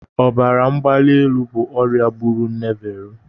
Ọbara mgbali elu bụ ọrịa gburu nne Vero.